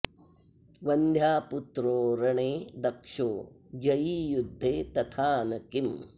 वन्ध्यापुत्रो रणे दक्षो जयी युद्धे तथा न किम्